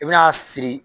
I bi n'a siri